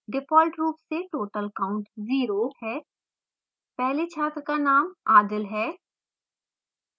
default रूप से total count 0 है पहले छात्र का नामadil है